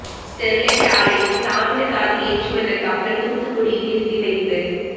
Sterlite ஆலைக்கு தாமிரதாது ஏற்றி வந்த கப்பல் தூத்துக்குடியில் நிறுத்தி வைப்பு